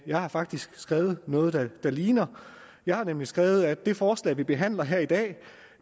jeg har faktisk skrevet noget der ligner jeg har nemlig skrevet at det forslag vi behandler her i dag